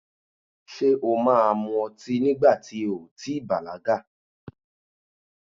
Ṣé o máa mu ọtí nígbà ti o ò tí i bàlágà?